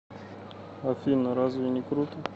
афина разве не круто